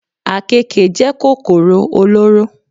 Àkekè jẹ́ kòkòrò olóró.